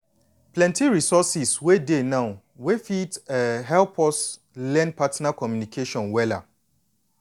plenty resources wey dey now wey fit um help us learn partner communication wella.